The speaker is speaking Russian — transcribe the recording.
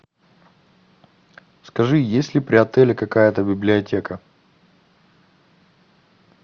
скажи есть ли при отеле какая то библиотека